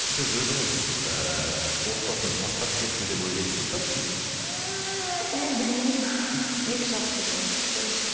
сіз өзіңіз ыыы отбасын тастап кетті деп ойлайсыз ба мен білмеймін екі жақты жоқ әйтеуір өзі